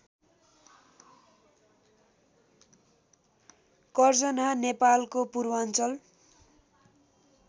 कर्जन्हा नेपालको पूर्वाञ्चल